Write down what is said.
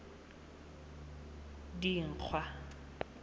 dikgwa